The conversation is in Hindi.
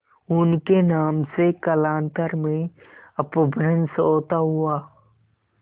उनके नाम से कालांतर में अपभ्रंश होता हुआ